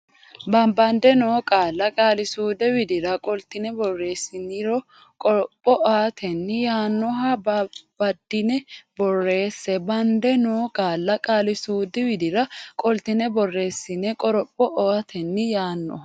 Babbande noo qaalla qaali suudu widira qoltine borreessiniro qoroph otenni yaannoha babbaddine borreesse Babbande noo qaalla qaali suudu widira qoltine borreessiniro qoroph otenni yaannoha.